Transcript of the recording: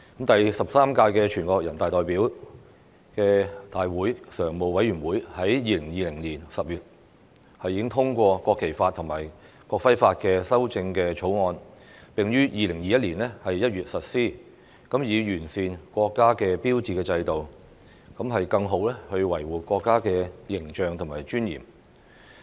第十三屆全國人民代表大會常務委員會在2020年10月已通過《國旗法》和《國徽法》的修正草案，並於2021年1月實施，以完善國家標誌制度，更好維護國家的形象和尊嚴。